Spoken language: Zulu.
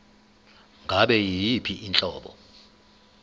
ngabe yiyiphi inhlobo